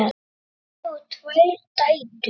Árni á tvær dætur.